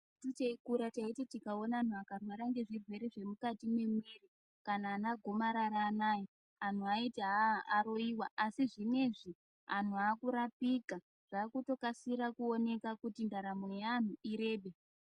Isusu teikura teiti tikaona antu anorwara ngezvirwere zvemukati memwiri kana ana gomarara anaya antu eiti aroyiwa asi zvinezvi antu akurapika zvakutokasira kuoneka kuti ndaramo yeantu irebe.